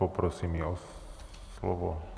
Poprosím ji o slovo.